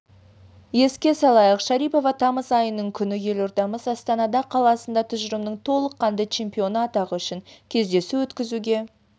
еске салайық шарипова тамыз айының күні елордамыз астанада қаласында тұжырымының толыққанды чемпионы атағы үшін кездесу өткізуге